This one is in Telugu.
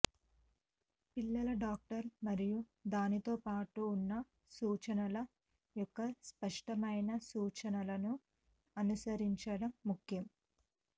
పిల్లల డాక్టర్ మరియు దానితో పాటు ఉన్న సూచనల యొక్క స్పష్టమైన సూచనలను అనుసరించడం ముఖ్యం